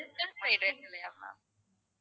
chicken fried rice இல்லையா ma'am